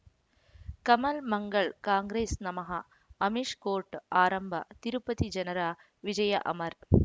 ಕಮಲ್ ಮಂಗಳ್ ಕಾಂಗ್ರೆಸ್ ನಮಃ ಅಮಿಷ್ ಕೋರ್ಟ್ ಆರಂಭ ತಿರುಪತಿ ಜನರ ವಿಜಯ ಅಮರ್